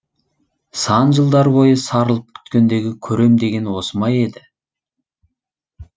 сан жылдар бойы сарылып күткендегі көрем дегені осы ма еді